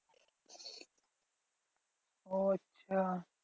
ও আচ্ছা